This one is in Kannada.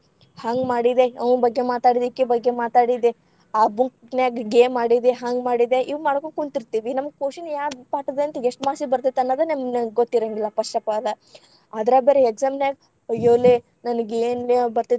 ಹಂಗ್‌ ಮಾಡಿದೆ, ಅವ್ನ ಬಗ್ಗೆ ಮಾತಾಡಿದೆ, ಇಕಿ ಬಗ್ಗೆ ಮಾತಾಡಿದೆ, ಆ ಗುಂಪನ್ಯಾಗ game ಆಡಿದೆ, ಹಂಗ್‌ ಮಾಡಿದೆ, ಇವ್‌ ಮಾಡಕೊಂತ್‌ ಕುಂತಿರ್ತೇವಿ. ನಮ್ಗ question ಯಾವ ಪಾಠದಂತ ಎಷ್ಟ marks ಗೆ ಬರ್ತೆತ ಅನ್ನೊದ್‌ ನಮ್ಗ ಗೊತ್ತಿರೆಂಗಿಲ್ಲಾ first of all ಅದ್ರಾಗ ಬೇರೆ exam ನ್ಯಾಗ ಅಯ್ಯೋ, ಲೇ ನನಗೇನ ಬರ್ತೇತ್ಯೋ.